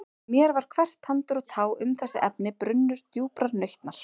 En mér var hvert tandur og tá um þessi efni brunnur djúprar nautnar.